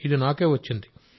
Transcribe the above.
ఇది నాకే వచ్చింది